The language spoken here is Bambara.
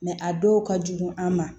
a dɔw ka jugu an ma